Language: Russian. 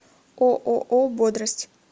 ооо бодрость